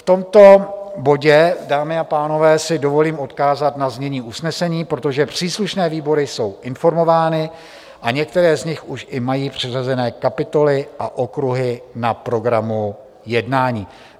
V tomto bodě, dámy a pánové, si dovolím odkázat na znění usnesení, protože příslušné výbory jsou informovány a některé z nich už i mají přiřazené kapitoly a okruhy na programu jednání.